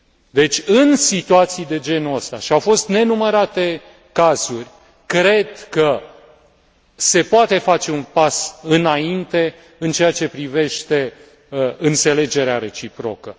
Deci în situații de genul acesta, și au fost nenumărate cazuri, cred că se poate face un pas înainte în aceea ce privește înțelegerea reciprocă.